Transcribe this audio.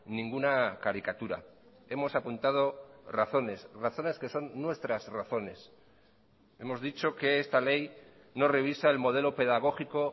ninguna caricatura hemos apuntado razones razones que son nuestras razones hemos dicho que esta ley no revisa el modelo pedagógico